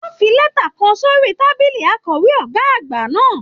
Wọn fí lẹta kàn sórí tábìlì akọwe ọgá àgbà náà.